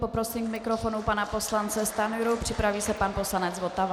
Poprosím k mikrofonu pana poslance Stanjuru, připraví se pan poslanec Votava.